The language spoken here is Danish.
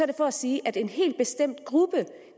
det for at sige at en helt bestemt gruppe